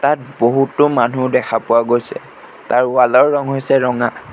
ইয়াত বহুতো মানুহ দেখা পোৱা গৈছে তাৰ ৱাল ৰ ৰং হৈছে ৰঙা।